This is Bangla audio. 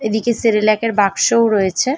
এদিকে সেরেলাক -এর বাক্সও রয়েছে।